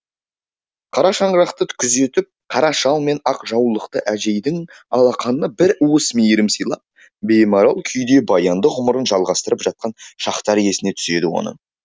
қара шаңырақты күзетіп қара шал мен ақ жаулықты әжейдің алақанына бір уыс мейірім сыйлап беймарал күйде баянды ғұмырын жалғастырып жатқан шақтар есіне түседі оның